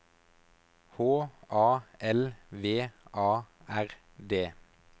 H A L V A R D